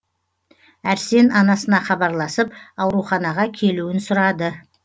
әрсен анасына хабарласып ауруханаға келуін сұрады